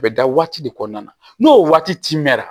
A bɛ da waati de kɔnɔna na n'o waati mɛnna